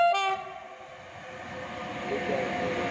એ ક્યારે લીધો હતો.